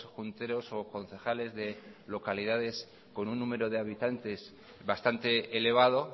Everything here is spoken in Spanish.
junteros o concejales de localidades con un número de habitantes bastante elevado